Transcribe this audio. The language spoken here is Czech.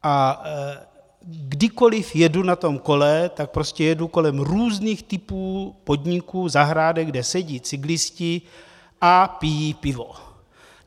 A kdykoliv jedu na tom kole, tak prostě jedu kolem různých typů podniků, zahrádek, kde sedí cyklisté a pijí pivo.